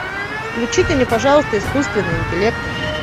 включите мне пожалуйста искусственный интеллект